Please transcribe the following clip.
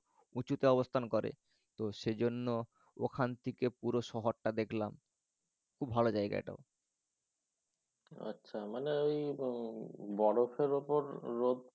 উঁচুতে অবস্থান করে তো সেজন্য ওখান থেকে পুরো শহরটা দেখলাম। খুব ভালো জায়গা এটাও। আচ্ছা মানে ঐ বরফের উপর রোদ